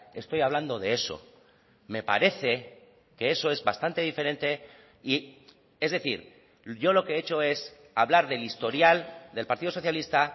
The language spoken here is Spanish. estoy hablando de eso me parece que eso es bastante diferente y es decir yo lo que he hecho es hablar del historial del partido socialista